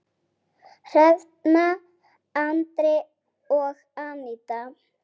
Hrefna, Andri og Aníta.